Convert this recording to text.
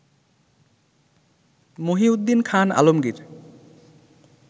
Mohiuddin Khan Alamgir